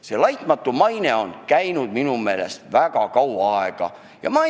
See "laitmatu maine" teema on minu meelest juba väga kaua aega päevakorral olnud.